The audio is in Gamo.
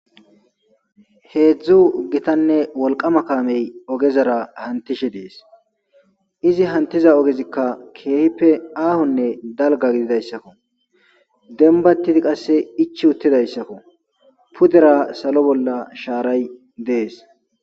Heedzdzu gitanne wolqama kaamey ogezara hanttishe dees. Izi hanttiza ogezikka keehippe aahonne dalgga gididayssako. Dembbatidi qasse ichchi uttidayssako. Pudera salo bollara shaaray dees.